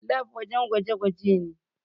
Lab wajen gwaje gwaje ne